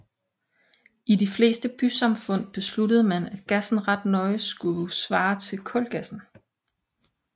I de fleste bysamfund besluttede man at gassen ret nøje skulle svare til kulgassen